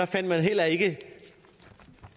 fandt man heller ikke